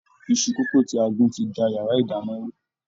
Iṣu kókò tí a gún ti da yàrá ìdáná rú.